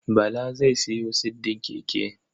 Bala zai sayo siddin keke.